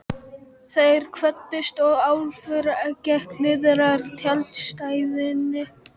Þeir kvöddust og Álfur gekk niðrað tjaldstæðinu.